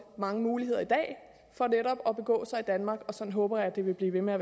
mange muligheder i dag for netop at begå sig i danmark og sådan håber jeg at det vil blive ved med at